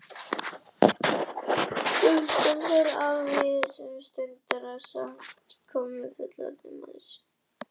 Stúlkan fór afsíðis um stundarsakir en kom síðan aftur með fullorðinn mann sér til fulltingis.